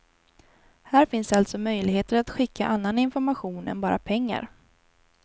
Här finns alltså möjligheter att skicka annan information än bara pengar.